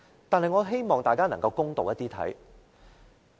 但是，我希望大家能夠公道一點。